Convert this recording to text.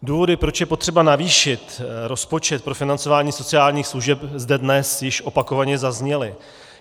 Důvody, proč je potřeba navýšit rozpočet pro financování sociálních služeb, zde dnes již opakovaně zazněly.